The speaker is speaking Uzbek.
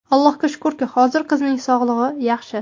Allohga shukurki, hozir qizining sog‘ligi yaxshi.